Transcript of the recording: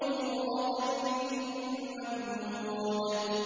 وَظِلٍّ مَّمْدُودٍ